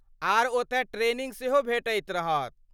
आर ओतय ट्रेनिंग सेहो भेटैत रहत।